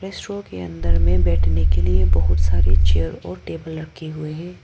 Show के अंदर में बैठने के लिए बहुत सारी चेयर और टेबल रखी हुई है।